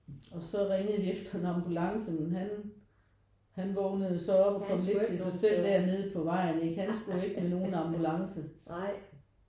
Og så ringede vi efter en ambulance men han han vågnede så op og kom lidt til sig selv derned på vejen ikke han skulle ikke med nogen ambulance